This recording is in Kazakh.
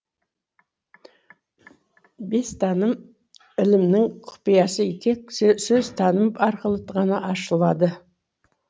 бестаным ілімнің құпиясы тек сөзтаным арқылы ғана ашылады